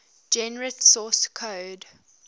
generate source code